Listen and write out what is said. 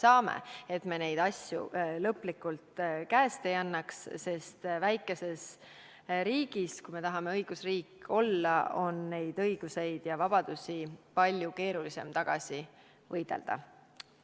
Oluline on, et me neid asju lõplikult käest ei annaks, sest väikeses riigis, kui tahame olla õigusriik, on neid õigusi ja vabadusi palju keerulisem tagasi võidelda.